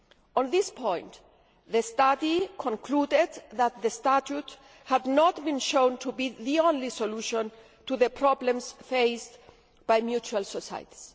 On this point, the study concluded that the statute had not been shown to be the only solution to the problems faced by mutual societies.